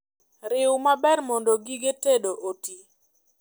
Riu maber mondo gige tedo otii